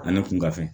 Ani kunka fɛn